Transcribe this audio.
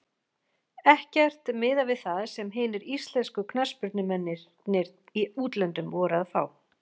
Ekkert miðað við það sem hinir íslensku knattspyrnumennirnir í útlöndum voru að fá.